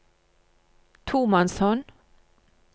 tomannshånd